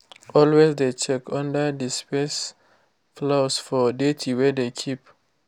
always de check under de space floors for dirty wey de keep.